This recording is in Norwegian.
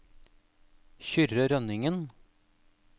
Kyrre Rønningen